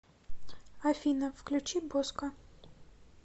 афина включи боско